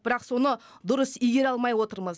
бірақ соны дұрыс игере алмай отырмыз